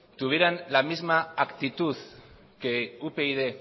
tuvieran la misma actitud que upyd